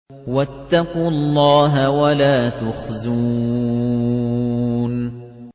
وَاتَّقُوا اللَّهَ وَلَا تُخْزُونِ